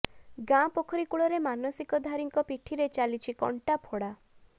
ଗାଁ ପୋଖରୀ କୂଳରେ ମାନସିକଧାରୀଙ୍କ ପିଠିରେ ଚାଲିଛି କଣ୍ଟା ଫୋଡା